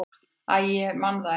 """Æ, ég man það ekki."""